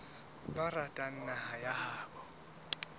ba ratang naha ya habo